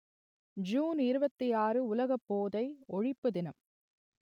June இருபத்தி ஆறு உலக போதை ஒழிப்பு தினம்